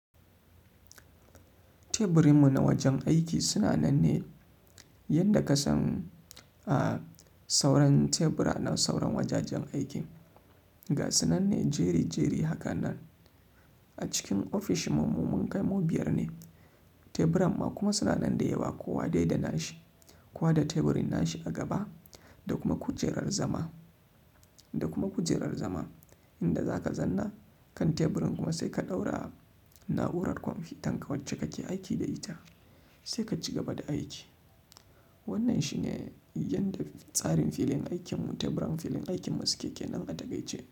Teburinmu na wajen aiki suna nan ne yadda ka san, a sauran tebura na sauran wajajen aikin. Ga suna nan ne jeri-jeri hakan nan. A cikin ofishinmu mun kai mu biyar ne. Teburan mu kuma suna nan da yawa, kowa dai da nashi. Kowa da teburin nashi a gaba da kuma kujerar zama, da kuma kujerar zama. Inda za ka zanna kan teburin kuma sai ka ɗaura na'urar kwamfutan ka wacce kake aiki da ita, sai ka ci gaba da aiki. Wannan shi ne yadda tsarin filin aikin mu, teburan filin aikin masu keke nan a takaice.